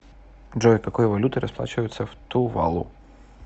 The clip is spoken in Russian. джой какой валютой расплачиваются в тувалу